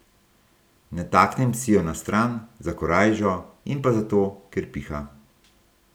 Nataknem si jo na stran, za korajžo, in pa zato, ker piha.